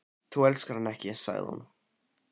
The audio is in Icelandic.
Þú elskar hann ekki, sagði hún.